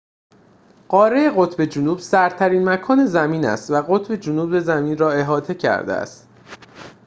قاره قطب جنوب سردترین مکان زمین است و قطب جنوب زمین را احاطه کرده است